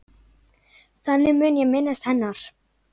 Þannig mun ég minnast hennar.